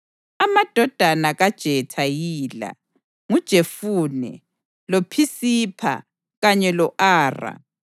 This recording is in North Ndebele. Amadodana kaJetha yila: nguJefune, loPhisipha kanye lo-Ara.